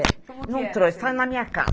É, não trouxe, foi na minha casa.